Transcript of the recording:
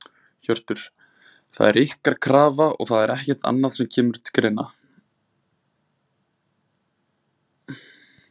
Hjörtur: Það er ykkar krafa og það er ekkert annað sem að kemur til greina?